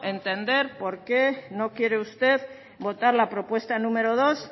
entender por qué no quiere usted votar la propuesta número dos